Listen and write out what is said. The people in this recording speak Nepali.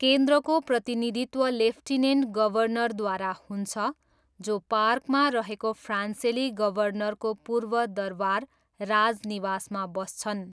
केन्द्रको प्रतिनिधित्व लेफ्टिनेन्ट गभर्नरद्वारा हुन्छ, जो पार्कमा रहेको फ्रान्सेली गभर्नरको पूर्व दरबार राजनिवासमा बस्छन्।